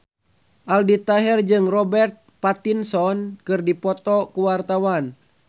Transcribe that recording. Aldi Taher jeung Robert Pattinson keur dipoto ku wartawan